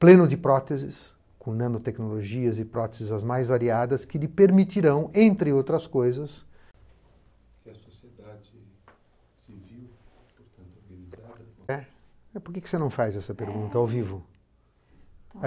Pleno de próteses, com nanotecnologias e próteses as mais variadas que lhe permitirão, entre outras coisas... Por que você não faz essa pergunta ao vivo?